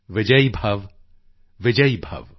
ਵਿਜਯੀ ਭਵ ਵਿਜਯੀ ਭਵ